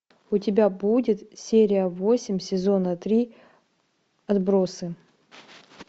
у тебя будет серия восемь сезона три отбросы